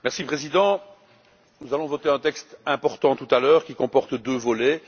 Monsieur le Président, nous allons voter un texte important tout à l'heure qui comporte deux volets.